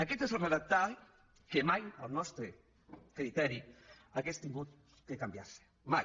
aquest és el redactat que mai al nostre criteri hauria hagut de canviar se mai